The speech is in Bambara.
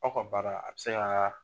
Aw ka baara a bi se ka.